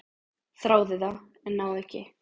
"""Þráði það, en náði ekki."""